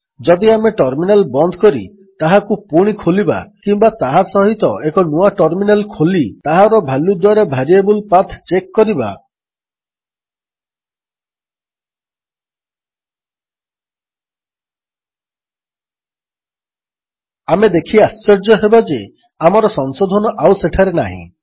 ଯଦି ଆମେ ଟର୍ମିନାଲ୍ ବନ୍ଦ କରି ତାହାକୁ ପୁଣି ଖୋଲିବା କିମ୍ୱା ତାହା ସହିତ ଏକ ନୂଆ ଟର୍ମିନାଲ୍ ଖୋଲି ତାହାର ଭାଲ୍ୟୁ ଦ୍ୱାରା ଭେରିଏବଲ୍ ପାଥ୍ ଚେକ୍ କରିବା ଆମେ ଦେଖି ଆଶ୍ଚର୍ଯ୍ୟ ହେବା ଯେ ଆମର ସଂଶୋଧନ ଆଉ ସେଠାରେ ନାହିଁ